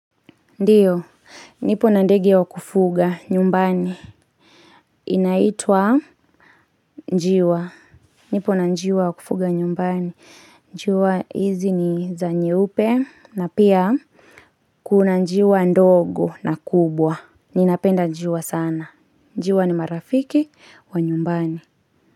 Ndiyo, nipo na ndege wa kufuga nyumbani. Inaitwa njiwa. Nipo na njiwa wa kufuga nyumbani. Njiwa hizi niza nyeupe na pia kuna njiwa ndogo na kubwa. Ninapenda njiwa sana. Njiwa ni marafiki wa nyumbani.